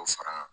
K'o fara n ka